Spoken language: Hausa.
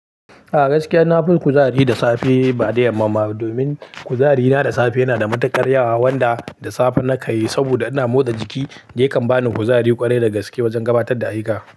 A gaskiya na fi kuzari da safe ba da yamma ba. Domin kuzari na da safe yana da matuƙar yawa wanda da safe nakan yi saboda ina motsa jiki yakan bani kuzari ƙwarai da gaske wajen gabatar da ayyuka.